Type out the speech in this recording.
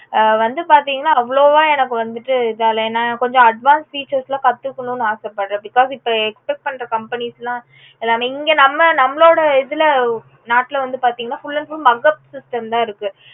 ஆஹ் வந்து பாத்தீங்கன்னா அவ்ளோவா எனக்கு வந்துட்டு இத இல்ல ஏன்னா கொஞ்சம் advance features எல்லாம் கத்துக்கணும்னு ஆச படறேன் because இப்போ expect பண்ற companies எல்லாமே இங்க நம்ப நம்மளோட இதுல நாட்ல வந்து பாத்தாங்க அப்புடின்னா full and full mugup system தா இருக்கு